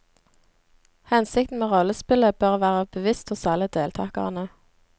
Hensikten med rollespillet bør være bevisst hos alle deltakerne.